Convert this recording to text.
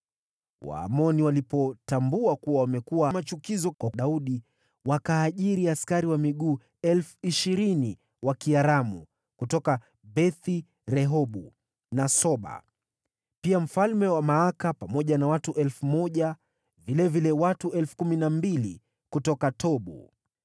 Waamoni walipotambua kuwa wamekuwa machukizo kwa Daudi, wakaajiri askari wa miguu 20,000 Waaramu kutoka Beth-Rehobu na Soba, pia mfalme wa Maaka pamoja na watu 1,000, na vilevile watu 12,000 kutoka Tobu.